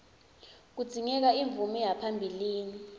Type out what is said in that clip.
kudzingeka umvume yaphambilini